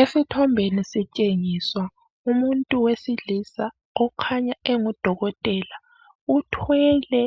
Esithombeni sitshengiswa umuntu wesilisa okhanya engudokotela, uthwele